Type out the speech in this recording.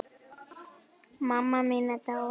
Mamma mín er dáin.